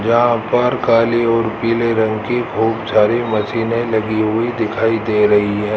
जहां पर काली और पीले रंग की खूब सारी मशीने लगी हुई दिखाई दे रही है।